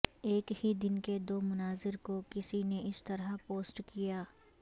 ایک ہی دن کے دو مناظر کو کسی نے اس طرح پوسٹ کیا